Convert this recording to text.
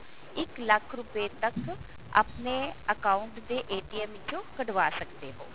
ਇੱਕ ਲੱਖ ਰੁਪਏ ਤੱਕ ਆਪਣੇ account ਦੇ ਵਿੱਚੋਂ ਕਢਵਾ ਸਕਦੇ ਹੋ